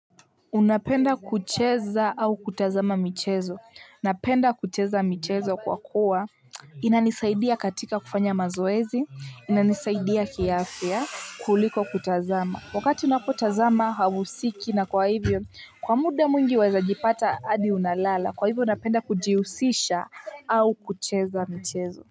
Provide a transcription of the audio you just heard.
Unapenda kucheza au kutazama michezo? Napenda kucheza michezo kwa kuwa inanisaidia katika kufanya mazoezi, inanisaidia kiafya kuliko kutazama. Wakati unapotazama hauhusiki na kwa hivyo, kwa muda mwingi waeza jipata hadi unalala, kwa hivyo unapenda kujihusisha au kucheza michezo.